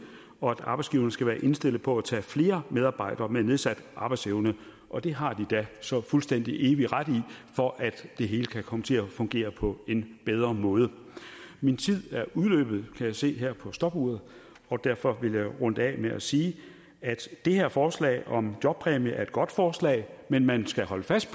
og at arbejdsgiverne skal være indstillet på at tage flere medarbejdere med nedsat arbejdsevne og det har de da så fuldstændig evig ret i for at det hele kan komme til at fungere på en bedre måde min tid er udløbet kan jeg se her på stopuret og derfor vil jeg runde af med at sige at det her forslag om jobpræmie er et godt forslag men man skal holde fast